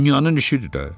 Dünyanın işidir də.